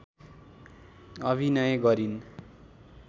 अभिनय गरिन्